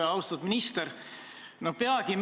Aga läheme nüüd siis 2020. aasta eelarve juurde.